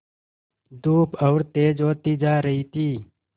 धूप और तेज होती जा रही थी